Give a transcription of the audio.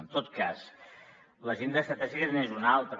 en tot cas l’agenda estratègica n’és un altre